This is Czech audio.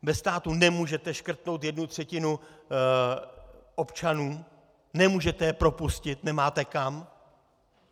Ve státě nemůžete škrtnout jednu třetinu občanů, nemůžete je propustit, nemáte kam.